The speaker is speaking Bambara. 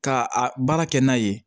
Ka a baara kɛ n'a ye